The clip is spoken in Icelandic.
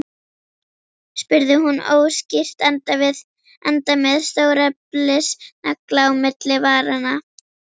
spurði hún óskýrt, enda með stóreflis nagla á milli varanna.